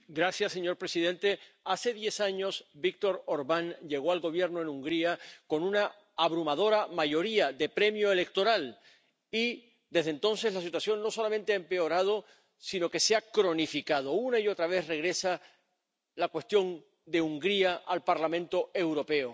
Señor presidente, hace diez años, Viktor Orbán llegó al gobierno en Hungría con una abrumadora mayoría de premio electoral y, desde entonces, la situación no solamente ha empeorado sino que se ha cronificado. Una y otra vez regresa la cuestión de Hungría al Parlamento Europeo.